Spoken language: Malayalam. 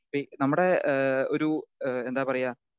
സ്പീക്കർ 2 നമ്മുടെ ഏഹ് ഒരു ഏഹ് എന്താ പറയുക?